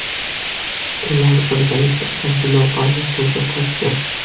Ular birgalikda antilopani suvga tortgan.